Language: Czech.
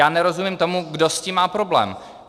Já nerozumím tomu, kdo s tím má problém.